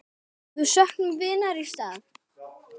Við söknum vinar í stað.